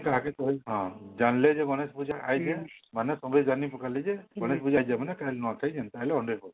ଜହକେ କହିମ ହଁ ଜାଣଲେ ଯେ ଗନେଶ ପୂଜା ମାନେ ସମସ୍ତେ ଯାନୀ ପକେଇଲେ ଯେ ଗନେଶ ପୂଜା କଲି ନୂଆଖାଇ ଜେନ୍ତା ହେଲେ